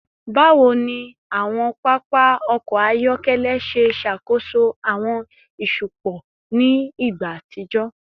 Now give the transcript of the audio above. Bawo ni awọn papa ọkọ ayọkẹlẹ ṣe ṣakoso awọn iṣupọ ni igba atijọ?